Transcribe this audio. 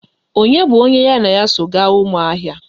Onye bụ onye ya na ya so gaa Ụmụahịa?